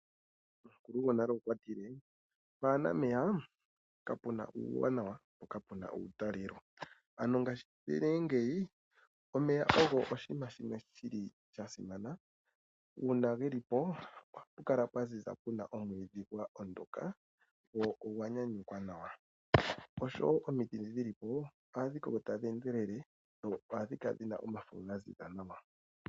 Omukulu gonale okwatile pwaana meya kapuna uuwanawa po kapuna uutalelo, ano ngashi ne ngeyi omeya ogo oshinima shimwe shili sha simana uuna geli po ohapu kala pwaziza puna omwiidhi gwa ondoka gwo ogwa nyanyukwa nawa, oshowo omiti ndhi dhili po oha dhi koko tadhi endelele dho ohadhi kala dhina omafo ga ziza nawa.